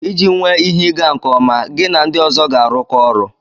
Iji nwee ihe ịga nke ọma, gi na ndi ozo ga-arụkọ ọrụ.